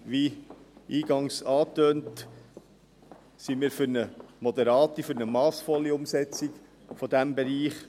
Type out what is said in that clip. Wie eingangs angetönt, sind wir für eine moderate, für eine massvolle Umsetzung dieses Bereichs.